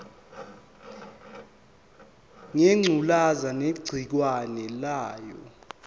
ngengculazi negciwane layo